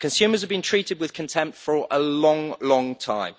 Consumers have been treated with contempt for a long, long time.